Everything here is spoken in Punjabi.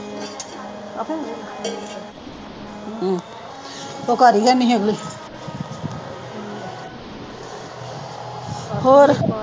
ਉਹ ਘਰ ਹੀ ਹੈਨੀ। ਹੋਰ।